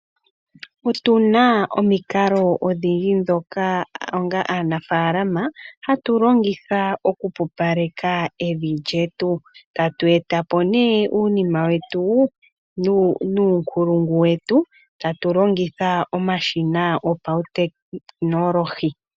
Otuna omiikalo odhindji dhoka onga aanafaalama hatu longitha okupupaleka evi lyetu, tatu eta po ne uunima wetu nuunkulungu wetu tatu longitha omashina gopautekinolohi.